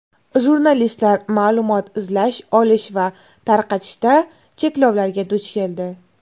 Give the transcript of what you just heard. Jurnalistlar ma’lumot izlash, olish va tarqatishda cheklovlarga duch keldi.